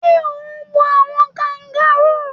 Sé o n wo àwon kangaroo